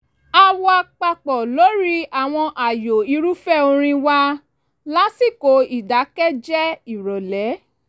a wà papọ̀ lórí àwọn ààyò irúfẹ́ orin wa lásìkò ìdákẹ́jẹ́ ìrọ̀lẹ́